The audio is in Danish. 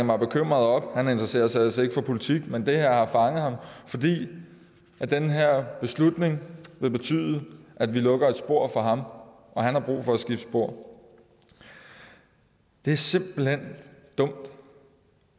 var bekymret han interesserer sig ellers ikke for politik men det her har fanget ham fordi den her beslutning vil betyde at vi lukker et spor for ham og han har brug for at skifte spor det er simpelt hen dumt